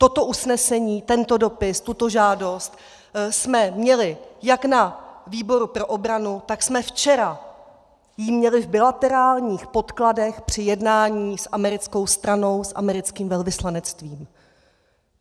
Toto usnesení, tento dopis, tuto žádost jsme měli jak na výboru pro obranu, tak jsme ji včera měli v bilaterálních podkladech při jednání s americkou stranou, s americkým velvyslanectvím.